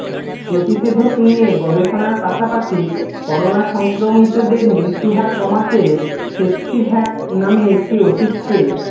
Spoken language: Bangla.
প্রতিষেধক নিয়ে গবেষণার পাশাপাশি করোনা সংক্রমিতদের মৃত্যুহার কমাতে সেপসিভ্যাক নামে একটি ওষুধকে